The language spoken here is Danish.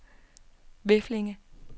Veflinge